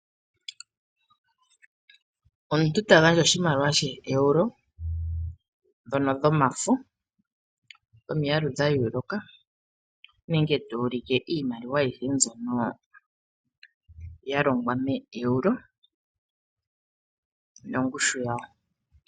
Omuntu tagandja oshimaliwa shee Euro dhono dhomafo dhomiyalu dhayooloka, nenge tu ulike iimaliwa ayihe mbyono yalongwa meeEuro nongushu yadho.